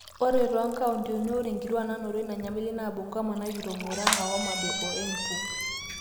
ore toonkauntini ore inkuak naanoto ina nyamali naa bungoma narikito, murang'a, homabay, o embu